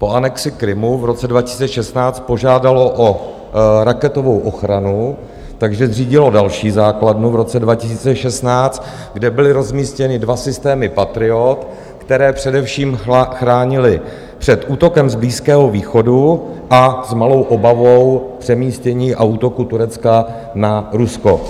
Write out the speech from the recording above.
Po anexi Krymu v roce 2016 požádalo o raketovou ochranu, takže zřídilo další základnu v roce 2016, kde byly rozmístěny dva systémy Patriot, které především chránily před útokem z Blízkého východu a s malou obavou přemístění a útoku Turecka na Rusko.